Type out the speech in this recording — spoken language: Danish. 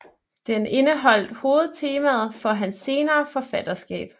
Den indeholdt hovedtemaet for hans senere forfatterskab